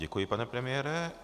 Děkuji, pane premiére.